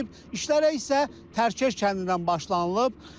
İşlərə isə Təkeş kəndindən başlanılıb.